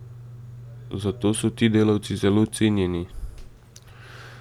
Zato so ti delavci zelo cenjeni!